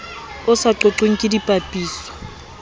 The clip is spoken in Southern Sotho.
o sa qoqweng ke dipapiso